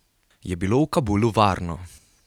Je bilo v Kabulu varno?